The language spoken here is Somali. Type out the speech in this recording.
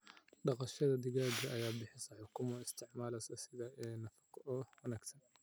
Dhaqashada digaaga ayaa bixisa ukumo loo isticmaalo sida il nafaqo oo wanaagsan.